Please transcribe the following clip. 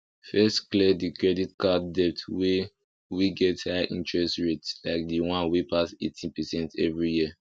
first clear the credit card debt wey wey get high interest rate like the one wey pass 18 percent every year